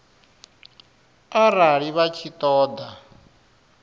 arali vha tshi ṱo ḓa